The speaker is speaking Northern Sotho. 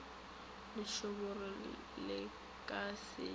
lešoboro le ka se ye